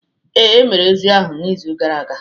Ee, e mere ozi ahụ n'izu gara aga